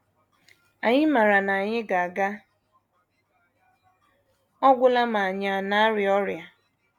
Anyị maara na anyị ga - aga ọ gwụla ma ànyị na - arịa ọrịa.